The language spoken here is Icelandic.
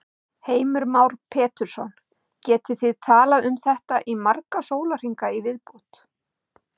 Heimir Már Pétursson: Getið þið talað um þetta í marga sólarhringa í viðbót?